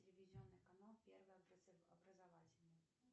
телевизионный канал первый образовательный